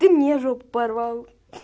ты мне жопу порвал